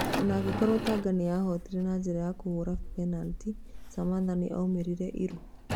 Ona angĩkorwo Tanga nĩ yahootire na njĩra ya kũhũra Benatĩ, Samantha nĩ omĩrire iruu.